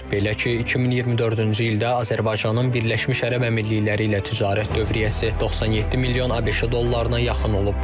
Belə ki, 2024-cü ildə Azərbaycanın Birləşmiş Ərəb Əmirlikləri ilə ticarət dövriyyəsi 97 milyon ABŞ dollarına yaxın olub.